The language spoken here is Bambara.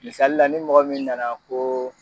Misali la ni mɔgɔ min nana koo